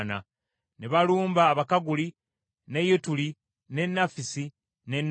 Ne balumba Abakaguli, ne Yetuli, ne Nafisi ne Nodabu.